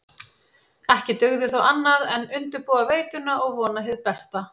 Ekki dugði þó annað en undirbúa veituna og vona hið besta.